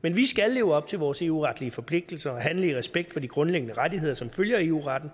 men vi skal leve op til vores eu retlige forpligtelser og handle i respekt for de grundlæggende rettigheder som følger af eu retten